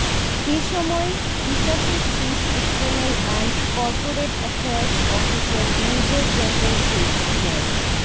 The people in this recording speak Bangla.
এ সময় বিকাশের chief external and corporate affairs officer major general Sheikh Md